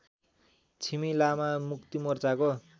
Chhimi Lama मुक्तिमोर्चाको